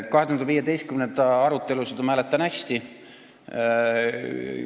2015. arutelusid ma mäletan hästi.